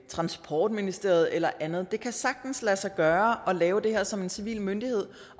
transportministeriet eller et andet det kan sagtens lade sig gøre at lave det her som en civil myndighed